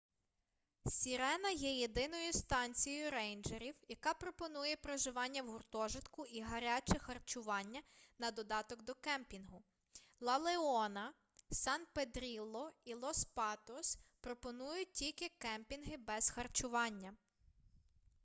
сірена є єдиною станцією рейнджерів яка пропонує проживання в гуртожитку і гаряче харчування на додаток до кемпінгу ла леона сан педрілло і лос патос пропонують тільки кемпінги без харчування